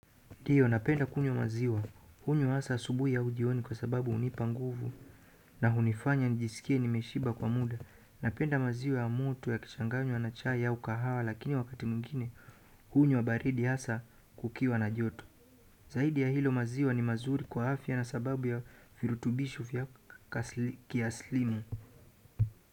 Ndiyo, napenda kunywa maziwa. Hunywa hasa asubuhi au jioni kwa sababu hunipa nguvu na hunifanya nijisikie nimeshiba kwa muda. Napenda maziwa ya mtu yakichanganywa na chai au kahawa lakini wakati mwingine, hunywa baridi hasa kukiwa na joto. Zaidi ya hilo maziwa ni mazuri kwa afya na sababu ya virutubisho vya kiaslimu.